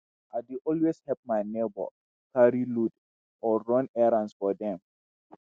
i dey always help my neighbor carry load or run errands for dem.